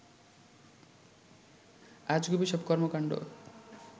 আজগুবি সব কর্মকাণ্ড